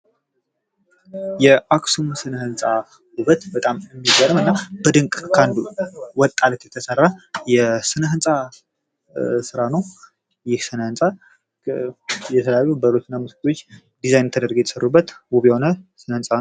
የአክሱም ሥነ ሕንፃ ውበት በጣም የሚገርምና በድንቅ ከአንዱ ወጥ አለት የተሰራ የሥነ ሕንፃ ሥራ ነው። ይህ ሥነ ሕንፃ የተለያዩ በሮችና መስኮቶች ዲዛይን ተደርጎ የተሰሩበት ውብ የሆነ ሥነ ሕንፃ ነው።